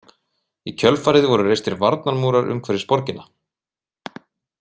Í kjölfarið voru reistir varnarmúrar umhverfis borgina.